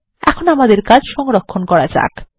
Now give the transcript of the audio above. এখন আমাদের কাজ সংরক্ষণ করা যাক